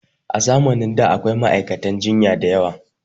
A zamanin da da akwai ma'aikata jinya diyawa